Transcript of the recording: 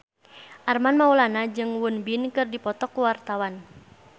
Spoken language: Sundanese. Armand Maulana jeung Won Bin keur dipoto ku wartawan